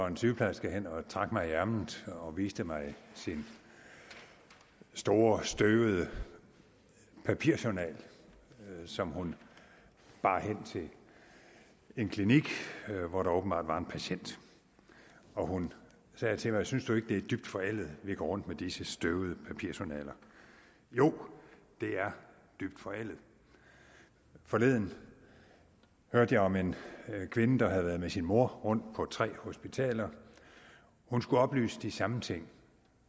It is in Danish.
en sygeplejerske hen og trak mig i ærmet og viste mig sin store støvede papirjournal som hun bar hen til en klinik hvor der åbenbart var en patient hun sagde til mig synes du ikke det er dybt forældet at vi går rundt med disse støvede journaler jo det er dybt forældet forleden hørte jeg om en kvinde der havde været med sin mor rundt på tre hospitaler hun skulle oplyse de samme ting